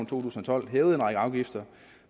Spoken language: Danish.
tusind og tolv en række afgifter